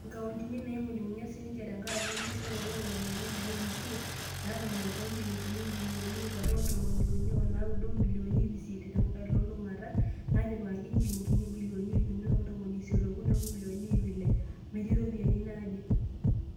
ingauntini, naingunyungunya sininje tenkaraka enkishorooto o ropiyiani naaimutia, netang'amutua injilingini ibilioni iip are o ntomon uni o naudo o milioni iip isiet tiatu elulungata naitipikakaki o njilingini ibilioni iip uni o ntomoni isiet okuni o milioni iip ile metii iropiyiani naaje.